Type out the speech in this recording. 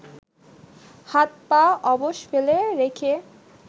হাত পা অবশ ফেলে রেখে